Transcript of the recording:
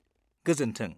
गोजोन्थों।